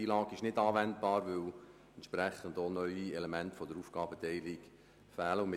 FILAG ist in diesem Fall nicht anwendbar, weil gemäss dem Entwurf des neuen PolG das Element der neuen Aufgabenteilung fehlt.